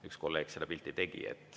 Üks kolleeg selle pildi tegi.